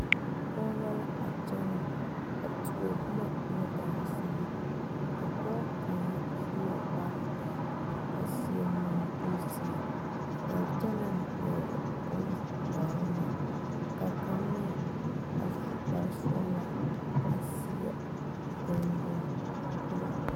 Pɔge la kyɛnɛ a tuo boma ŋa daasama ka pɔge kaŋa su la kpara dɔre a seɛ munkuru zeɛ a kyɛ naŋ pɛgle boŋ dɛre meŋ ka kaŋ meŋ a su kpare sɔgla a zeɛ gunduŋ poro.